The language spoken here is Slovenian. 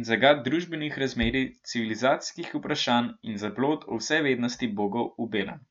in zagat družbenih razmerij, civilizacijskih vprašanj in zablod o vsevednosti bogov v belem.